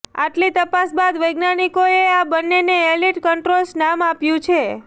આટલી તપાસ બાદ વૈજ્ઞાનિકોએ આ બંનેને એલીટ કંટ્રોલર્સ નામ આપ્યું છે